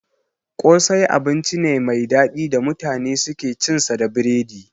Kosai abinci ne mai daɗi da mutane suke cin sa da biredi